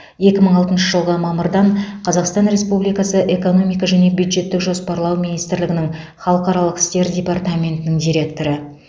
екі мың алтыншы жылғы мамырдан қазақстан республикасы экономика және бюджеттік жоспарлау министрлігінің халықаралық істер департаментінің директоры